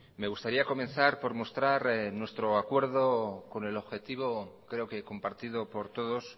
me gustaría comenzar por mostrar nuestro acuerdo con el objetivo creo que compartido por todos